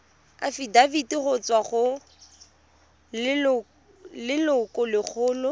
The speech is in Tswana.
afitafiti go tswa go lelokolegolo